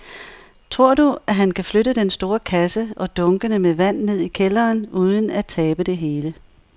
Tror du, at han kan flytte den store kasse og dunkene med vand ned i kælderen uden at tabe det hele?